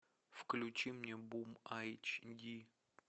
включи мне бум айч ди